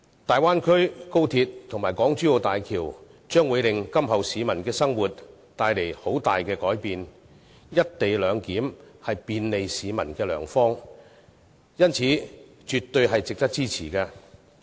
大灣區、高鐵及港珠澳大橋將為市民今後的生活帶來很大改變，而"一地兩檢"是便利市民的良方，故絕對值得支持。